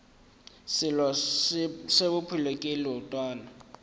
selo se bophelo ke leotwana